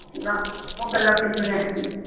ਨਾ ਉਹ ਗੱਲਾਂ ਪਿਛਲੀਆਂ ਹੈਨੀ ਆ